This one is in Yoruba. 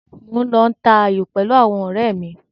Mò ń lọ ta ayò pẹ̀lú àwọn ọ̀rẹ́ mi.